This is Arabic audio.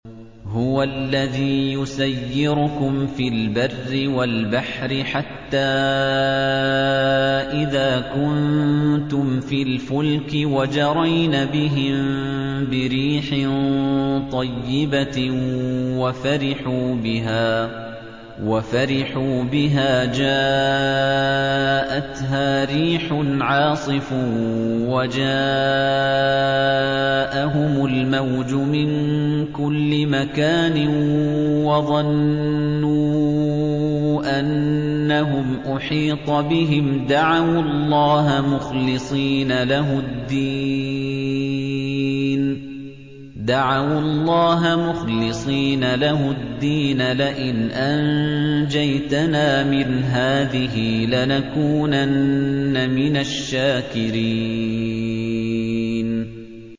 هُوَ الَّذِي يُسَيِّرُكُمْ فِي الْبَرِّ وَالْبَحْرِ ۖ حَتَّىٰ إِذَا كُنتُمْ فِي الْفُلْكِ وَجَرَيْنَ بِهِم بِرِيحٍ طَيِّبَةٍ وَفَرِحُوا بِهَا جَاءَتْهَا رِيحٌ عَاصِفٌ وَجَاءَهُمُ الْمَوْجُ مِن كُلِّ مَكَانٍ وَظَنُّوا أَنَّهُمْ أُحِيطَ بِهِمْ ۙ دَعَوُا اللَّهَ مُخْلِصِينَ لَهُ الدِّينَ لَئِنْ أَنجَيْتَنَا مِنْ هَٰذِهِ لَنَكُونَنَّ مِنَ الشَّاكِرِينَ